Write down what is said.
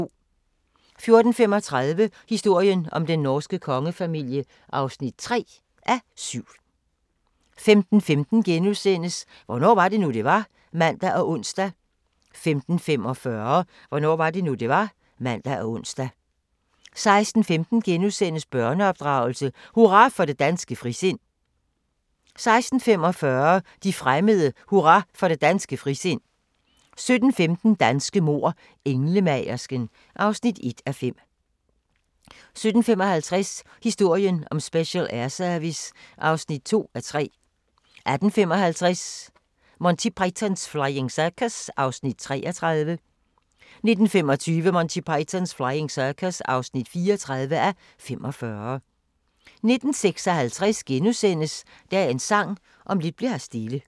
14:35: Historien om den norske kongefamilie (3:7) 15:15: Hvornår var det nu, det var? *(man og ons) 15:45: Hvornår var det nu, det var? (man og ons) 16:15: Børneopdragelse: Hurra for det danske frisind * 16:45: De fremmede: Hurra for det danske frisind 17:15: Danske mord: Englemagersken (1:5) 17:55: Historien om Special Air Service (2:3) 18:55: Monty Python's Flying Circus (33:45) 19:25: Monty Python's Flying Circus (34:45) 19:56: Dagens Sang: Om lidt bli'r her stille *